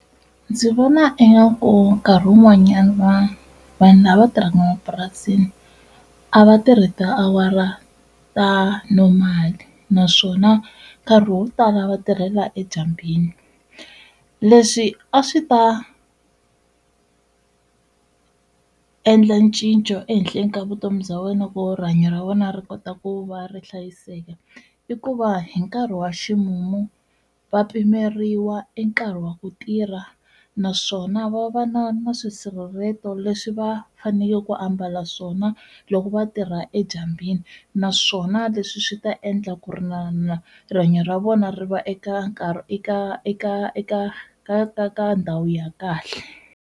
Ndzi vona ingaku nkarhi wun'wanyana vanhu lava va tirhaka mapurasini a va tirhi tiawara ta normal, naswona nkarhi wo tala va tirhela edyambini. Leswi a swi ta endla ncinco ehenhleni ka vutomi bya wena ku rihanyo ra vona ri kota ku va ri hlayiseka, i ku va hi nkarhi wa ximumu va pimeriwa e nkarhi wa ku tirha naswona va va na na swisirhelelo leswi va fanekele ku ambala swona loko va tirha edyambini naswona leswi swi ta endla ku ri na na rihanyo ra vona ri va eka eka eka eka ka ndhawu ya kahle.